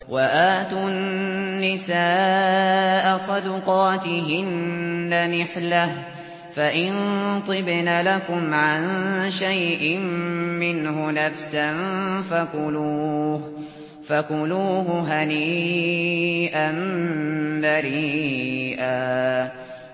وَآتُوا النِّسَاءَ صَدُقَاتِهِنَّ نِحْلَةً ۚ فَإِن طِبْنَ لَكُمْ عَن شَيْءٍ مِّنْهُ نَفْسًا فَكُلُوهُ هَنِيئًا مَّرِيئًا